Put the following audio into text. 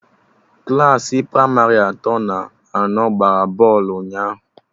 Klassị pramarị atọ na anọ gbara bọlụ ụnyaahụ